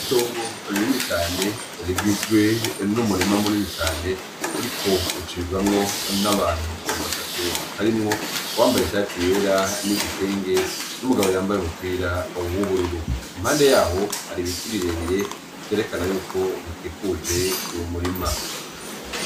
Itongo rinini cane rigizwe n'umurima munini cane hariko hacamwo abantu batatu harimwo uwambaye ishati yera n'igitenge, n'uwambaye umupira w'ubururu yaho har'ibiti birebire vyerekanako bikikuje uwo murima .